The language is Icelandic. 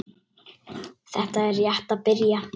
Þetta er rétt að byrja.